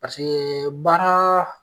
baara